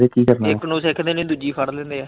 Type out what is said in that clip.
ਇੱਕ ਨੂੰ ਸਿੱਖਦੇ ਨੀ ਦੂਜੀ ਫੜ ਲੈਂਦੇ ਆ।